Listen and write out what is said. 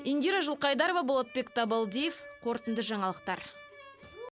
индира жылқайдарова болатбек табалдиев қорытынды жаңалықтар